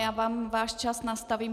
Já vám váš čas nastavím.